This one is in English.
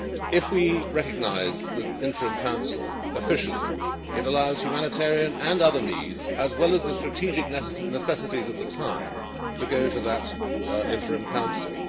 If we recognise the interim council officially, it allows humanitarian and other needs, as well as the strategic necessities of the time, to go to that interim council.